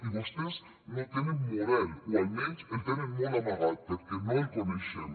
i vostès no tenen model o almenys el tenen molt amagat perquè no el coneixem